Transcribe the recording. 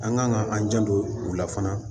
An kan ka an janto u la fana